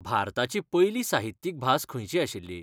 भारताची पयली साहित्यीक भास खंयची आशिल्ली?